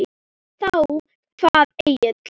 Þá kvað Egill